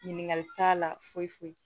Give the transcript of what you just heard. Ɲininkali t'a la foyi foyi